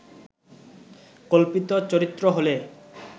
কল্পিত চরিত্র হলে